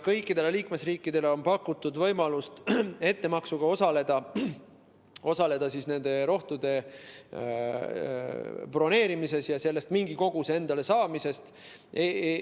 Kõikidele liikmesriikidele on pakutud võimalust ettemaksuga osaleda nende rohtude broneerimises ja mingi koguse endale saamises.